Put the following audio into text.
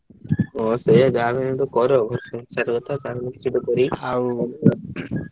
ହଁ ସେଇଆ ଯାହା ହଉ କର ।